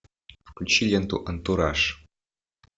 включи ленту антураж